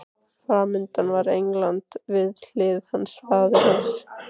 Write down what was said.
Framundan var England, við hlið hans faðir hans